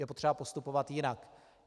Je potřeba postupovat jinak.